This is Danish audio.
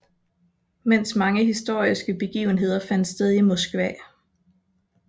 Mens mange historiske begivenheder fandt sted i Moskva og St